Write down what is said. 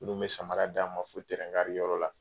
Minnu bɛ samara d'a ma f yɔrɔ la